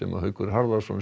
Haukur Harðarson